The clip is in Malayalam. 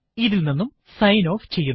ഇത് ഇല് നിന്നും സൈന് ഓഫ് ചെയ്യുന്നു